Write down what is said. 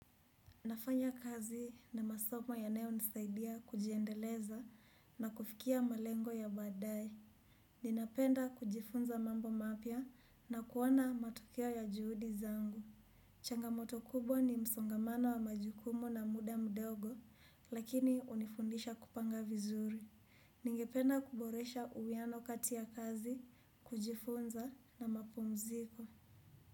Nafanya kazi na masomo yanao nisaidia kujiendeleza na kufikia malengo ya badae. Ninapenda kujifunza mambo mapia na kuwona matukio ya juhudi zangu. Changamoto kubwa ni msongamano wa majukumu na muda mdogo lakini unifundisha kupanga vizuri. Ningependa kuboresha uwiano kati ya kazi, kujifunza na mapumziko.